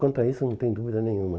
Quanto a isso, não tem dúvida nenhuma.